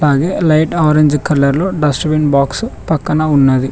Light orange colour లో dust bin box పక్కన ఉన్నది.